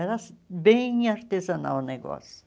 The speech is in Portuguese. Era bem artesanal o negócio.